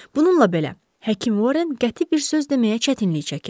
Bununla belə, həkim Horren qəti bir söz deməyə çətinlik çəkirmiş.